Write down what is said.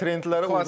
Trendləri var.